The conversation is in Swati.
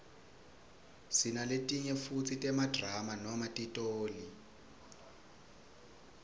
sinaletinye futsi temadrama noma titoli